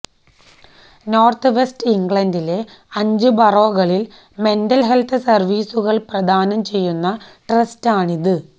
north west ഇംഗ്ലണ്ടിലെ അഞ്ച് ബറോകളിൽ മെന്റൽ ഹെൽത്ത് സർവീസുകൾ പ്രദാനം ചെയ്യുന്ന ട്രസ്റ്റാണിത്